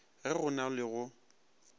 ge go na le go